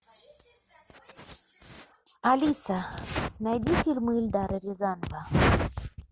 алиса найди фильмы эльдара рязанова